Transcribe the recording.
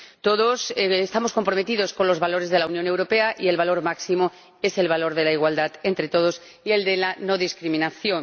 Todos estamos comprometidos con los valores de la Unión Europea, y el valor máximo es el valor de la igualdad entre todos y el de la no discriminación.